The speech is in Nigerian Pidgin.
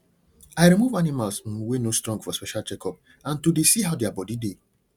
i remove animals um wey no strong for special checkup and to dey see how their body dey